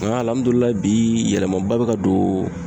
Nga bi yɛlɛma ba be ka don